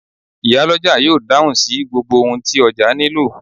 Iyálọ́jà yóò dáhùn sí gbogbo ohun tí ọjà nílò.